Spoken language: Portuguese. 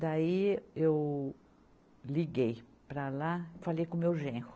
Daí eu liguei para lá, falei com o meu genro.